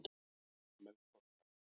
Melkorka